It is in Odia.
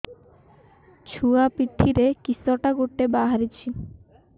ଛୁଆ ପିଠିରେ କିଶଟା ଗୋଟେ ବାହାରିଛି